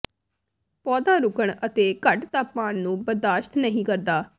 ਪੌਦਾ ਰੁਕਣ ਅਤੇ ਘੱਟ ਤਾਪਮਾਨ ਨੂੰ ਬਰਦਾਸ਼ਤ ਨਹੀਂ ਕਰਦਾ